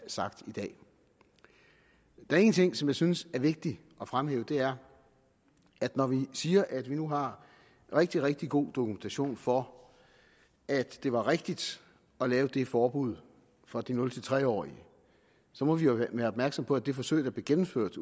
sagt i dag der er en ting som jeg synes er vigtig at fremhæve og det er at når vi siger at vi nu har rigtig rigtig god dokumentation for at det var rigtigt at lave det forbud for de nul tre årige må vi jo være opmærksomme på at det forsøg der blev gennemført